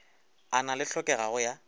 a na le hlokego ya